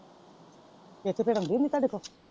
ਇਕ ਤੇ ਆਉਂਦੀ ਨੀਂ ਤੁਹਾਡੇ ਕੋਲ।